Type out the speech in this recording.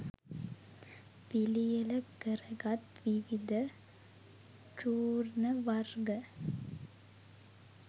පිළියෙල කරගත් විවිධ චූර්ණ වර්ග